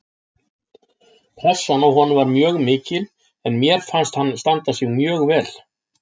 Pressan á honum var mjög mikil en mér fannst hann standa sig mjög vel